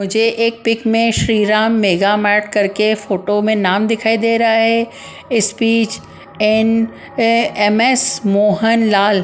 मुझे एक पिक में श्रीराम मेगा मार्ट कर के फोटो में नाम दिखाई दे रहा है speech and M S Mohan Lal --